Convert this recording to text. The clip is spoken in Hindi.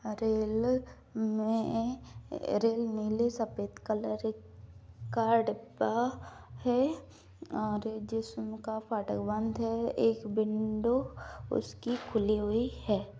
रेल में रेल नीले सफ़ेद कलर का डिब्बा है और जिस में का फाटक बंद है एक विंडो उसकी खुली हुई है।